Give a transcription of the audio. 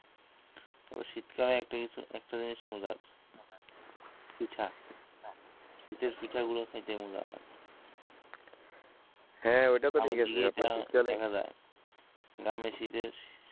তবে শীতকালে একটা জিনিস মজার পিঠা শীতের পিঠাগুলো খাইতে মজা হ্যা অইটাতো ঠিকাছে আপনার শীতকালে না আমি শীতের